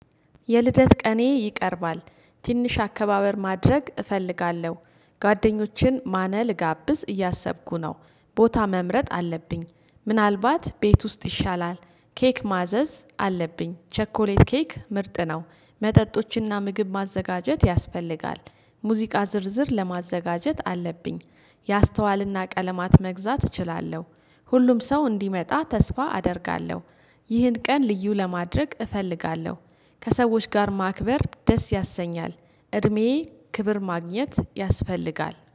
የልደት ቀኔ ይቀርባል ትንሽ አከባበር ማድረግ እፈልጋለሁ ጓደኞችን ማነል ጋብዝ እያሰብኩ ነው። ቦታ መምረጥ አለብኝ ምናልባት ቤት ውስጥ ይሻላል። ኬክ ማዘዝ አለብኝ ቸኮሌት ኬክ ምርጥ ነው። መጠጦችንና ምግብ ማዘጋጀት ያስፈልጋል። ሙዚቃ ዝርዝር ለማዘጋጀት አለብኝ። የአስተዋልና ቀለማት መግዛት እችላለሁ። ሁሉም ሰው እንዲመጣ ተስፋ አደርጋለሁ። ይህን ቀን ልዩ ለማድረግ እፈልጋለሁ። ከሰዎች ጋር ማክበር ደስ ያሰኛል። እድሜዬ ክብር ማግኘት ያስፈልጋል